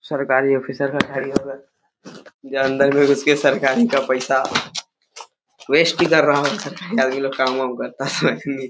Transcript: सरकारी अफिसर का जो अंदर में घुस के सरकारी का पैसा वेस्ट भी कर रहा है सरकारी आदमी लोग काम वाम करता है।